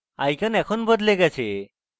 icon এখন বদলে গেছে